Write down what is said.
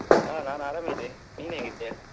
ಹಾ ನಾನ್ ಆರಾಮ ಇದ್ದೇ ನೀನ್ ಹೇಗಿದ್ಯಾ?